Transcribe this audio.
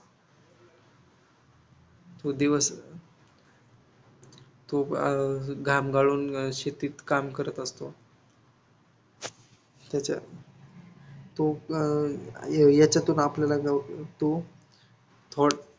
तो दिवस तो अं घाम गाळून शेतीत काम करत असतो. त्याच्या तो अं त्याच्यातून आपल्याला तो थोड़